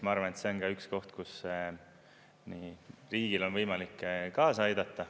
Ma arvan, et see on ka üks koht, kus riigil on võimalik kaasa aidata.